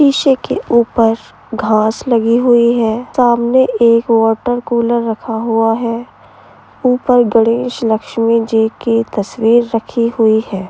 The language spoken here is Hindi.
शीशे के ऊपर घास लगी हुई हैं। सामने एक वाटर कूलर रखा हुआ हैं। ऊपर गणेश लक्ष्मी जी की तस्वीर रखी हुई हैं।